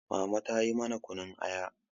mama ta yi mana kunun Aya